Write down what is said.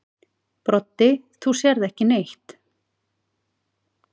Broddi: Þú sérð ekki neitt.